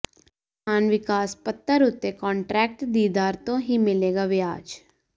ਕਿਸਾਨ ਵਿਕਾਸ ਪੱਤਰ ਉੱਤੇ ਕਾਂਨਟਰੈਕਟ ਦੀ ਦਰ ਤੋਂ ਹੀ ਮਿਲੇਗਾ ਵਿਆਜ